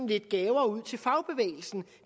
lidt gaver ud til fagbevægelsen